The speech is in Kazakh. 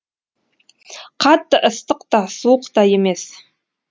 қатты ыстық та суық та емес